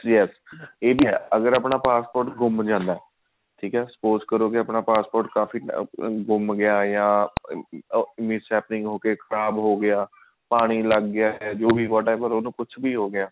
ਅਗਰ ਆਪਣਾ passport ਗੁੰਮ ਜਾਂਦਾ suppose ਕਰੋ ਕੇ ਆਪਣਾ passport ਕਾਫੀ ਗੁੰਮ ਗਿਆ ਜਾਂ ਅਮ miss happening ਹੋ ਕੇ ਖਰਾਬ ਹੋਗਿਆ ਪਾਣੀ ਲੱਗ ਗਿਆ ਹੈ ਜਾਂ ਉਹਨੂੰ ਕੁਛ ਵੀ ਹੋਗਿਆ